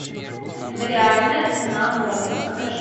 реальная цена моды покажи